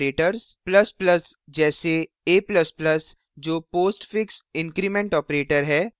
++ जैसे a ++ जो postfix increment postfix increment operator है